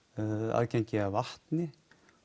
aðgengi að vatni